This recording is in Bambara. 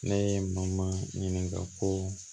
Ne ye n ma ɲininka ko